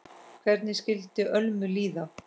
Hvernig skyldi Ölmu líða?